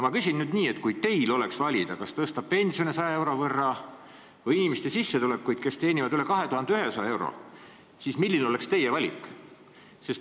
Ma küsin nüüd nii: kui teil oleks valida, kas tõsta pensione 100 euro võtta või nende inimeste sissetulekuid, kes teenivad üle 2100 euro, siis milline oleks teie valik?